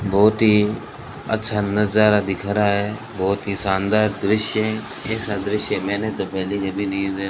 बहुत ही अच्छा नजारा दिख रहा है बहुत ही शानदार दृश्य है ऐसा दृश्य मैंने तो पहले कभी नहीं दे --